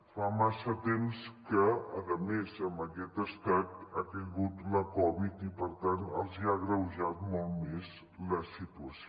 fa massa temps que a més en aquest estat ha caigut la covid i per tant els ha agreujat molt més la situació